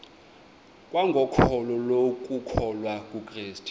kwangokholo lokukholwa kukrestu